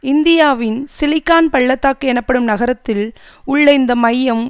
இந்தியாவின் சிலிக்கான் பள்ள தாக்கு எனப்படும் நகரத்தில் உள்ள இந்த மையம்